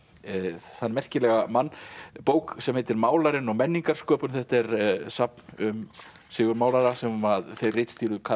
þann merkilega mann bók sem heitir málarinn og menningarsköpun þetta er safn um Sigurð málara sem að þeir ritstýrðu Karl